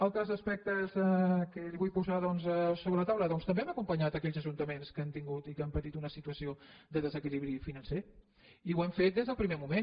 altres aspectes que li vull posar doncs sobre la taula doncs també hem acompanyat aquells ajuntaments que han tingut i que han patit una situació de desequilibri financer i ho hem fet des del primer moment